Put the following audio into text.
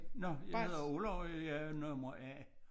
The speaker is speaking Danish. Nåh jeg hedder Olav og jeg er nummer A